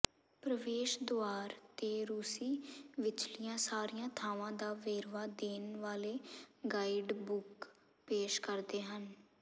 ਪ੍ਰਵੇਸ਼ ਦੁਆਰ ਤੇ ਰੂਸੀ ਵਿਚਲੀਆਂ ਸਾਰੀਆਂ ਥਾਵਾਂ ਦਾ ਵੇਰਵਾ ਦੇਣ ਵਾਲੇ ਗਾਈਡਬੁੱਕ ਪੇਸ਼ ਕਰਦੇ ਹਨ